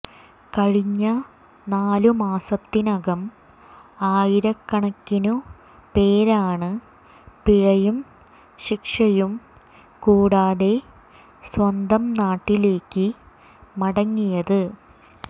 കഴിഞ്ഞ നാലു മാസത്തിനകം ആയിരക്കണക്കിനു പേരാണ് പിഴയും ശിക്ഷയും കൂടാതെ സ്വന്തം നാട്ടിലേക്ക് മടങ്ങിയത്